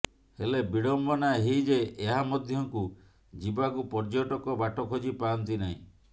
ହେଲେ ବିଡ଼ମ୍ବନା ଏହି ଯେ ଏହା ମଧ୍ୟକୁ ଯିବାକୁ ପର୍ଯ୍ୟଟକ ବାଟ ଖୋଜି ପାଆନ୍ତି ନାହିଁ